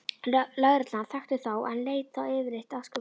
Lögreglan þekkti þá en lét þá yfirleitt afskiptalausa.